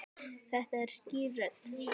Þetta er skýr rödd.